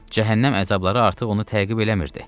Cəhənnəm əzabları artıq onu təqib eləmirdi.